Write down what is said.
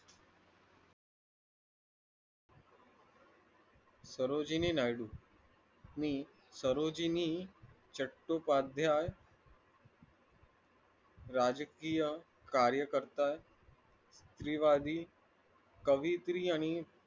ने राजकीय कार्यकर्ता कवियत्री आणि